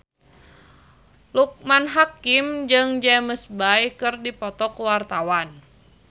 Loekman Hakim jeung James Bay keur dipoto ku wartawan